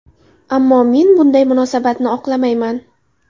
Ammo men bunday munosabatni oqlamayman.